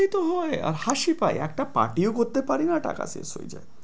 এতো হয় আর হাঁসি পায় একটা party ও করতে পারি না টাকা শেষ হয়ে যায়।